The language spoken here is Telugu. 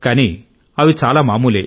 కానీ అవి చాలా మామూలు